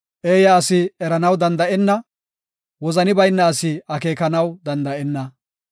Eeya asi eranaw danda7enna; wozani bayna asi akeekanaw danda7enna.